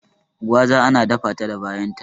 Gwaza ana data ta da bayan ta